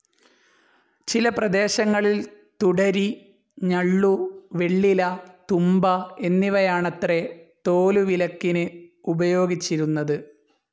ചില പ്രദേശങ്ങളിൽ തുടരി, ഞള്ളു, വെള്ളില, തുമ്പ എന്നിവയാണത്രെ തോലുവിലക്കിന് ഉപയോഗിച്ചിരുന്നത്.